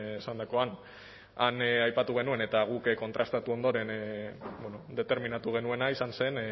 esandakoan han aipatu genuen eta guk kontrastatu ondoren determinatu genuena izan zen